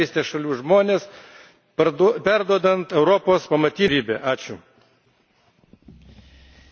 Todėl kviečiu visus investuoti į Rytų partnerystės šalių žmones perduodant Europos pamatinių idėjų stiprybę.